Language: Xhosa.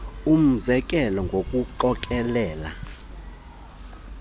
umze kelo ngokuqokelela